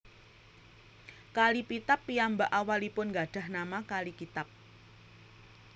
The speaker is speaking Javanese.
Kali Pitap piyambak awalipun gadhah nama kali Kitab